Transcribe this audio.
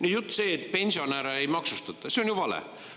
See jutt, et pensionäre ei maksustata, on ju vale.